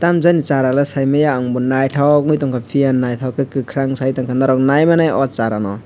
tam jani sara le saimaya ang bo naitok ungoi tangka piya naitok ke kakorang saitongka norog naimanai o sara no.